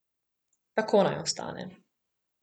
Tako naj ostane.